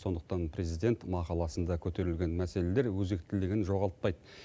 сондықтан президент мақаласында көтерілген мәселелер өзектілігін жоғалтпайды